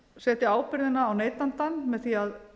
setja ábyrgðina á neytandann með því að